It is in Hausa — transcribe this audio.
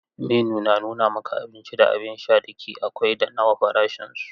Menu na nuna maka abinci da abin sha da ke akwai da nawa farashinsu.